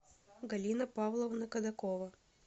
галина павловна кадакова